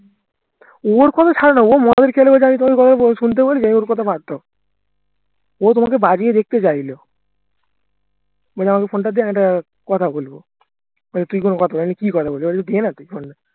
ওর কথা ছাড়ো না ও মদ টড খেলে শুনতে পারি ওর কথা বাদ দাও ও তোমাকে বাজিয়ে দেখতে চাইলো বললো আমাকে phone তা দে আমি একটা কথা বলবো বললাম কি কথা বললো দে না তুই phone টা